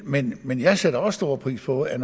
men men jeg sætter også stor pris på at